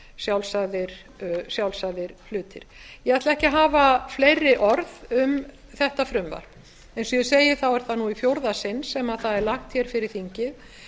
sjálfsagðir hlutir ég ætla ekki að hafa fleiri orð um þetta frumvarp eins og ég segi er það nú í fjórða sinn sem það er lagt hér fyrir þingið